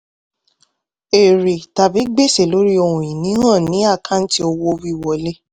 èrè tàbí gbèsè lórí ohun-ìní hàn ní àkáǹtì owó wíwọlé.